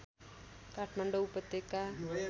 काठमाडौँ उपत्यका